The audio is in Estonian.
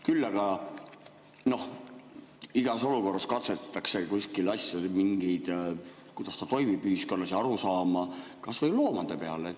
Küll aga igas olukorras katsetatakse asju, kuidas ta toimib ühiskonnas, ja arusaama, kas või loomade peal.